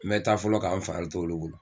N bɛ taa fɔlɔ k'a n fari t'olu bolo